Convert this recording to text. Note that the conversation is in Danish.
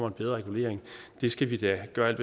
en bedre regulering skal vi da gøre alt